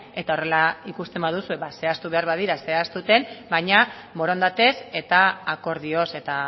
eta horrela ikusten baduzue ba zehaztu behar badira zehazten baina borondatez eta akordioz eta